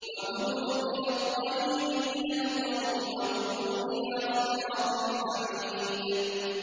وَهُدُوا إِلَى الطَّيِّبِ مِنَ الْقَوْلِ وَهُدُوا إِلَىٰ صِرَاطِ الْحَمِيدِ